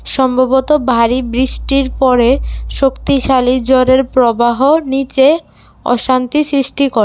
সম্ভবত ভারী বৃষ্টির পরে শক্তিশালী জলের প্রবাহ নীচে অশান্তি সৃষ্টি করে।